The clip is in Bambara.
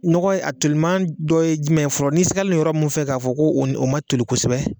Nɔgɔ a toliman dɔ ye jumɛn fɔlɔ n'i sigalen yɔrɔ mun fɛ k'a fɔ ko o ma toli kosɛbɛ